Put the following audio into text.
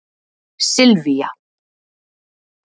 Silvía